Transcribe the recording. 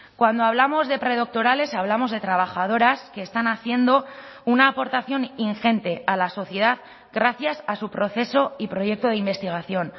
cuando hablamos de predoctorales hablamos de trabajadoras que están haciendo una aportación ingente a la sociedad gracias a su proceso y proyecto de investigación